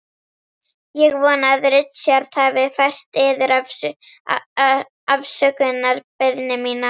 Ég vona að Richard hafi fært yður afsökunarbeiðni mína.